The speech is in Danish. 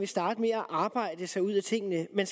starte med at arbejde os ud af tingene men